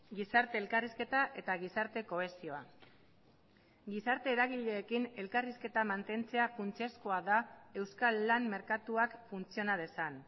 gizarte elkarrizketa eta gizarte kohesioa gizarte eragileekin elkarrizketa mantentzea funtsezkoa da euskal lan merkatuak funtziona dezan